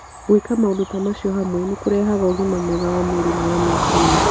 Gwĩka maũndũ ta macio hamwe nĩ kũrehaga ũgima mwega wa mwĩrĩ na wa meciria.